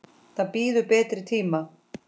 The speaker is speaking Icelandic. Það bíður betri tíma.